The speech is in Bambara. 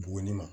Buguni ma